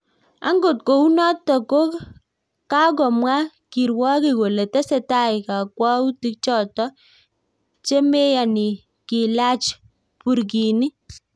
Angot kou notok ko kakomwaa kirwogik kolee tesetai kakwauti chotok chemeyanii kilaach Burkini